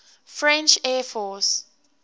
french air force